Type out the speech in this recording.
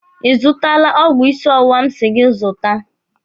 Ị zụtala ọgwụ ịsị ọwụwa m si gị zụta?